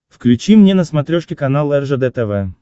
включи мне на смотрешке канал ржд тв